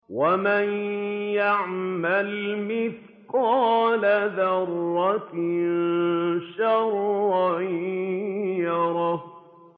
وَمَن يَعْمَلْ مِثْقَالَ ذَرَّةٍ شَرًّا يَرَهُ